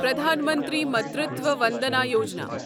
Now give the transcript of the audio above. Pradhan Mantri Matritva Vandana Yojana